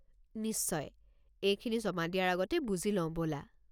নিশ্চয়, এইখিনি জমা দিয়াৰ আগতে বুজি লওঁ ব'লা।